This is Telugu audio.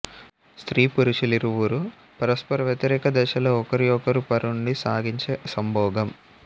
స్త్రీ పురుషులిరువురూ పరస్పర వ్యతిరేక దిశలో ఒకరి ఒకరు పరుండి సాగించే సంభోగం